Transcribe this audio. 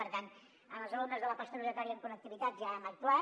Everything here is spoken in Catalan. per tant amb els alumnes de la postobligatòria amb connectivitat ja hem actuat